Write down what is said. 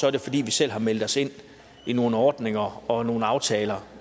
er det fordi vi selv har meldt os ind i nogle ordninger og nogle aftaler